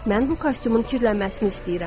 Mən bu kostyumun kirlənməsini istəyirəm.